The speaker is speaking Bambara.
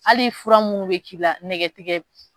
Hali fura minnu bɛ k'i la nɛgɛ tigɛ